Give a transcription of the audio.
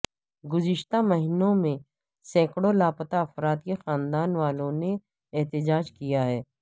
گزشتہ مہینوں میں سینکڑوں لاپتہ افراد کے خاندان والوں نے احتجاج کیا ہے